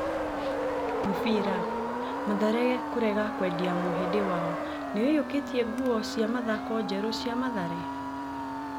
(Mũbira). Mathare kũrega kwendia mũhĩndi wayo Nĩũiyũkĩtie nguo cĩa mathako njerũ cĩa Mathare?